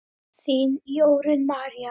Þín, Jórunn María.